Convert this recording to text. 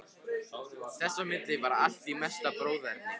Þess á milli var allt í mesta bróðerni.